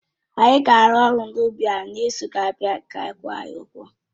Anyị ga-arụ ọrụ n'ugbọ ahụ n'izu na-abịa ka a kwụọ anyị ụgwọ